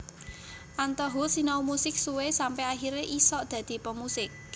Anto Hoed sinau musik suwe sampe akhire isok dadi pemusik